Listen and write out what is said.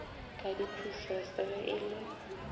ka diphusese ge e le